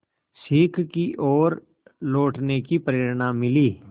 सीख की ओर लौटने की प्रेरणा मिली